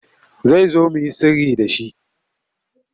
Zai zo mu yi sirri da shi.